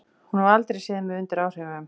Hún hefur aldrei séð mig undir áhrifum.